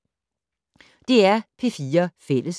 DR P4 Fælles